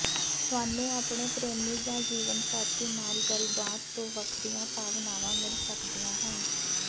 ਤੁਹਾਨੂੰ ਆਪਣੇ ਪ੍ਰੇਮੀ ਜਾਂ ਜੀਵਨ ਸਾਥੀ ਨਾਲ ਗੱਲਬਾਤ ਤੋਂ ਵੱਖਰੀਆਂ ਭਾਵਨਾਵਾਂ ਮਿਲ ਸਕਦੀਆਂ ਹਨ